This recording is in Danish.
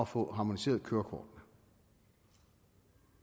få harmoniseret kørekortene